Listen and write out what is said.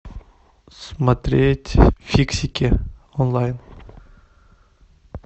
смотреть фиксики онлайн